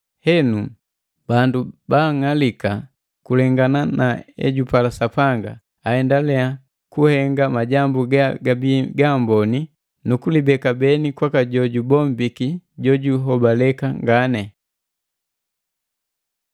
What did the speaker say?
Henu, bandu baang'alika kulengana na ejupala Sapanga, aendelea kuhenga majambu gagabii gamboni nukulibeka beni kwaka jojubombiki jojuhobaleka ngani.